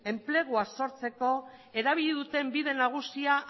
enplegua sortzeko erabili duten bide nagusia